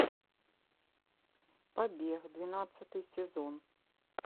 побег двенадцатый сезон